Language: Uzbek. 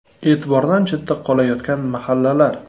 E’tibordan chetda qolayotgan mahallalar.